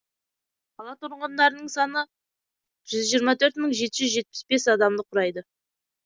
қала тұрғындарының саны жүз жиырма төрт мың төрт жүз жетпіс бес адамды құрайды